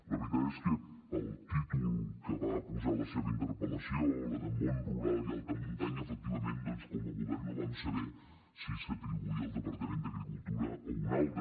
la veritat és que pel títol que va posar a la seva interpel·lació el de món rural i alta muntanya efectivament doncs com a govern no vam saber si s’atribuïa al departament d’agricultura o a un altre